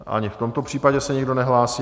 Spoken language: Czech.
Ani v tomto případě se nikdo nehlásí.